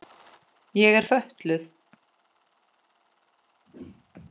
Ég er fötluð.